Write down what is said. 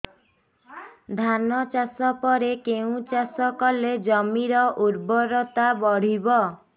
ଧାନ ଚାଷ ପରେ କେଉଁ ଚାଷ କଲେ ଜମିର ଉର୍ବରତା ବଢିବ